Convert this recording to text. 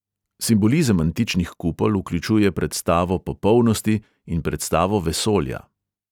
Simbolizem antičnih kupol vključuje predstavo popolnosti in predstavo vesolja.